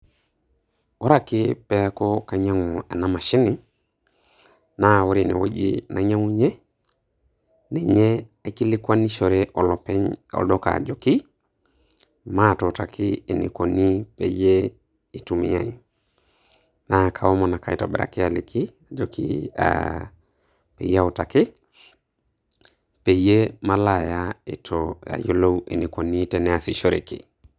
Ore ake peeku kainyang'u ena mashini, na ore enewueji nainyang'unye, ninye aikilikwanishore olopeny olduka ajoki, matuutaki enikoni peyie itumiai. Na kaomon ake aitobiraki aliki ajoki, ah peyie autaki. Peyie malo aya eitu ayiolou enikoni teneesishoreki.